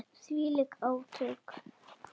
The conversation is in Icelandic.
Og þvílík átök.